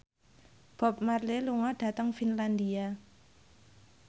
Bob Marley lunga dhateng Finlandia